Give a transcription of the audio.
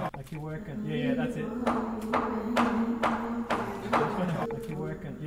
Dhaqanleyda xoolaha waxay u baahan yihiin in loo tababaro ganacsiga xoolaha.